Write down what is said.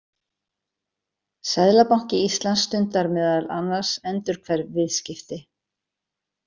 Seðlabanki Íslands stundar meðal annars endurhverf viðskipti.